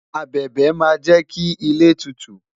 abẹbẹ ma je ki ile tutu